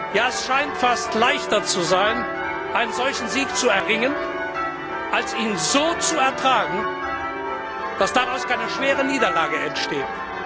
Ja, es scheint fast leichter zu sein, einen solchen Sieg zu erringen, als ihn so zu ertragen, dass daraus keine schwere Niederlage entsteht.